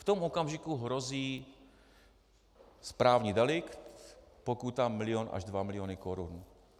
V tom okamžiku hrozí správní delikt, pokuta milion až dva miliony korun.